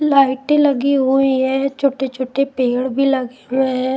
लाइटें लगी हुई है छोटे-छोटे पेड़ भी लगे हुए हैं.